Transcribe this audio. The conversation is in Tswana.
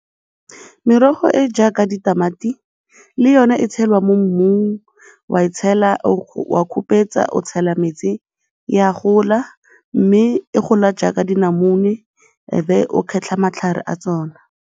Merogo e e jaaka ditamati le yone e tshelwa mo mmung, o a e tshela, o a khupetsa, o tshela metsi, e a gola mme e gola jaaka dinamune ebe o kgetlha matlhare a tsona.